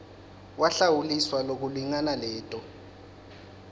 wahlawuliswa lokulingana leto